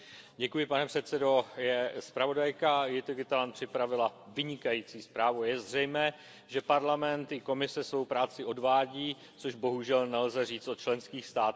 Pane předsedající, zpravodajka Jytte Gutelandová připravila vynikající zprávu, je zřejmé, že Parlament i Komise svou práci odvádí, což bohužel nelze říct o členských státech.